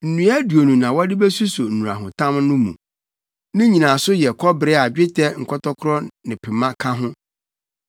Nnua aduonu na wɔde besuso nnurahotam no mu. Ne nnyinaso yɛ kɔbere a dwetɛ nkɔtɔkoro ne pema ka ho.